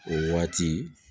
O waati